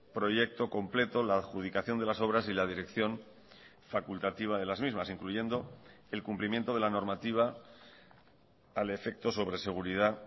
proyecto completo la adjudicación de las obras y la dirección facultativa de las mismas incluyendo el cumplimiento de la normativa al efecto sobre seguridad